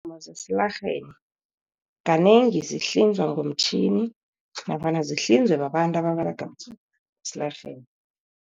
Zesilarheni kanengi ziyahlinzwa ngomtjhini, nofana zihlinzwe babantu ababerega esilarheni.